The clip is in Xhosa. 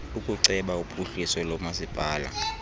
ukuceba uphuhliso lomasipala